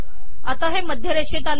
आता हे मध्य रेषेत आले